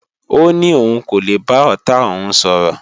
Ó ní òun kò lè bá ọ̀tá òun sọ̀rọ̀